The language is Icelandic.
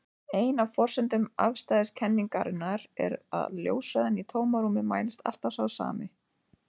Ein af forsendum afstæðiskenningarinnar er að ljóshraðinn í tómarúmi mælist alltaf sá sami.